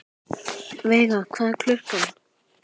Veiga, hvað er klukkan?